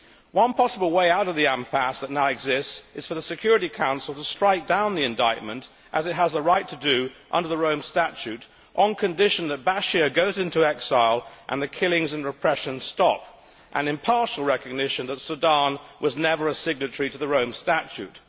One possible way out of the impasse that now exists is for the Security Council to strike down the indictment, as it has a right to do under the Rome Statute, on condition that Bashir goes into exile and the killings and repression stop, and in partial recognition that Sudan was never a signatory to the Rome Statute.